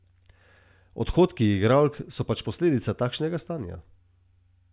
Odhodi igralk so pač posledica takšnega stanja.